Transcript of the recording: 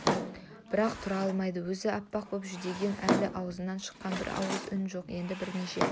бірақ тұра алмайды өзі аппақ боп жүдеген әлі аузынан шыққан бір ауыз үн жоқ енді бірнеше